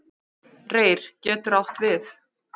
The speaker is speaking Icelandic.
Reyr getur átt við